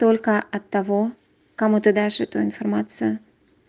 только от того кому ты дашь эту информацию